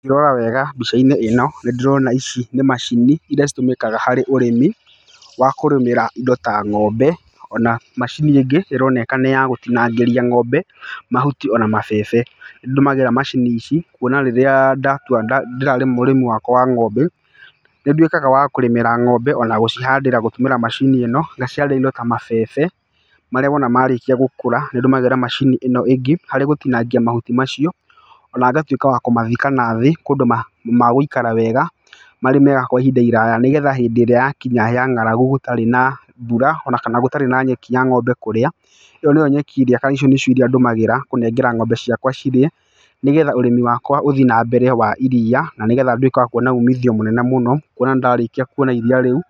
Ngĩrora wega mbica-inĩ ĩno, nĩ ndĩrona ici nĩ macini, irĩa citũmĩkaga harĩ ũrĩmi, wa kũrĩmĩra indo ta ng'ombe, ona macini ĩngĩ ĩroneka nĩ ya gũtinangĩria ng'ombe mahuti ona mabebe. Nĩ ndũmagĩra macini ici, kuona rĩrĩa ndatua ndĩrarĩma ũrĩmi wakwa wa ng'ombe, nĩ nduĩkaga wa kũrĩmĩra ng'ombe, ona gũcihandĩra gũtũmĩra macini ĩno. Ngacihandĩra indo ta mabebe, marĩa wona marĩkia gũkũra, nĩ ndũmagĩra macini ĩno ĩngĩ, harĩ gũtinangia mahuti macio. Ona ngatuĩka wa kũmathika nathi, kũndũ magũikara wega, marĩ mega kwa ihinda iraya nĩgetha hĩndĩ ĩrĩa yakinya ya ng'aragu gũtarĩ na mbura ona kana gũtarĩ na nyeki ya ng'ombe kũrĩa, ĩyo nĩyo nyeki ĩrĩa kana icio nĩcio iria irĩa ndũmagĩra kũnengera ng'ombe ciakwa cirĩe. Nĩgetha ũrĩmi wakwa ũthi na mbere wa iriia, na nĩgetha nduĩke wa kuona umithio mũnene mũno, kuona ndarĩkia kuona iria rĩu,